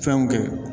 Fɛnw kɛ